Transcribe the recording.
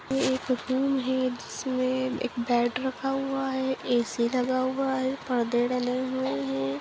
ये एक रूम है जिसमे एक बेड रखा हुआ है ए.सी. लगा हुआ है पर्दे डले हुए हैं।